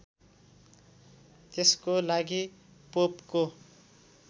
त्यसको लागि पोपको